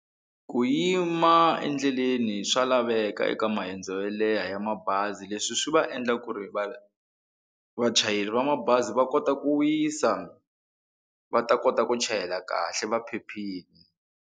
Ku yima endleleni swa laveka eka maendzo mo leha ya mabazi leswi swi va endla ku ri va vachayeri va mabazi va kota ku wisa va ta kota ku chayela kahle va phephile.